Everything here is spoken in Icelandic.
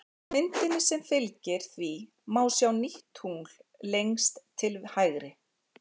Á myndinni sem fylgir því má sjá nýtt tungl lengst til hægri.